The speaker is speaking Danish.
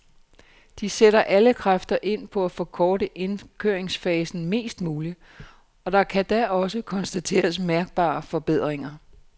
De sætter alle kræfter ind på at forkorte indkøringsfasen mest muligt, og der kan da også konstateres mærkbare forbedringer.